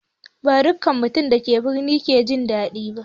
Ba dukkan mutanen da ke birni ke jin daɗi ba.